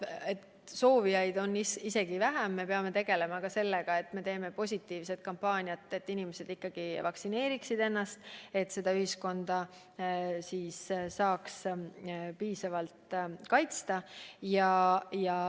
Aga et soovijaid on vähem, siis me peame tegema positiivset kampaaniat, et inimesed ikkagi laseksid ennast vaktsineerida, et ka ühiskonda piisavalt kaitsta.